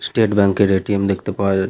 State bank -এর ATM. দেখতে পাওয়া যা--